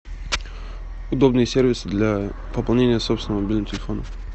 удобный сервис для пополнения собственного мобильного телефона